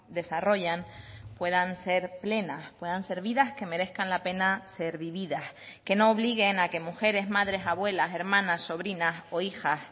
desarrollan puedan ser plenas puedan ser vidas que merezcan la pena ser vividas que no obliguen a que mujeres madres abuelas hermanas sobrinas o hijas